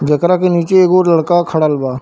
जेकरा के निचे एगो लड़का खड़ल बा।